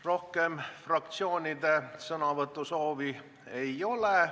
Rohkem fraktsioonide sõnavõtusoovi ei ole.